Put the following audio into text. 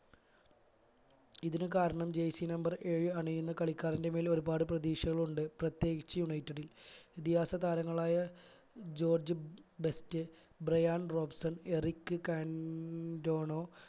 ഇതിനു കാരണം jersey number ഏഴ് അണിയുന്ന കളിക്കാരന്റെ മേൽ ഒരുപാട് പ്രതീക്ഷകൾ ഉണ്ട് പ്രത്യേകിച്ച് united ൽ ഇതിഹാസ താരങ്ങളായ George Best Bryan Robson Eric Cantona